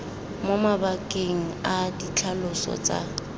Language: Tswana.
mo mabakeng a ditlhaloso tsa